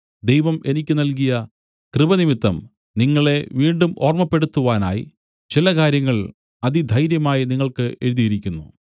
ദൈവം എനിക്ക് നല്കിയ കൃപ നിമിത്തം നിങ്ങളെ വീണ്ടും ഓർമ്മപ്പെടുത്തുവാനായി ചില കാര്യങ്ങൾ അതിധൈര്യമായി നിങ്ങൾക്ക് എഴുതിയിരിക്കുന്നു